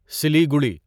Siliguri